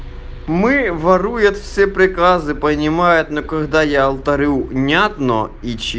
мы воруют все приказы понимают на когда я говорю понятно